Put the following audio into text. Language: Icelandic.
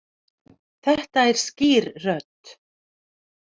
Þetta er skýr rödd.